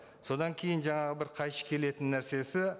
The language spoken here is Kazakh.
содан кейін жаңағы бір қайшы келетін нәрсесі